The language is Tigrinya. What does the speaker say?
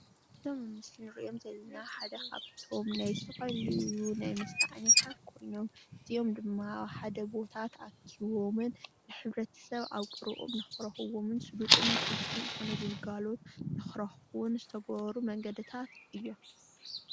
እዞም ኣብቲ ምስሊ ንሪኦም ዘለና ሓደ ካብቶም ናይ ዝተፈላለዩ ናይ መስተ ዓይነታት ኮይኖም እዚኦም ድማ ኣብ ሓደ ቦታ ተኣኪቦምን ንሕብረተሰብ ኣብ ቀረበኦም ንኽረኽብዎም ስልጡን ቅልጥፉን ዝኾነ ግልጋሎት ንኽረኽቡን ዝተገበሩ መንገድታት እዮም።